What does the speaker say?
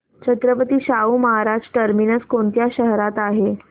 Chhatrapati Shahu Maharaj terminus कोणत्या शहरात आहे